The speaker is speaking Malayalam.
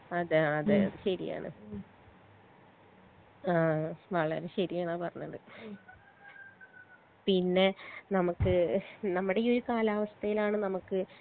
അതെ അതെ അത് ശരിയാണ് ആ വളരെ ശരിയാണ് ആ പറഞ്ഞത് പിന്നെ നമ്മക്ക് നമ്മടെ ഈ ഒരു കാലാവസ്ഥേലാണ് നമ്മ്ക്ക്